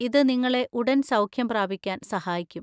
ഇത് നിങ്ങളെ ഉടൻ സൗഖ്യം പ്രാപിക്കാൻ സഹായിക്കും.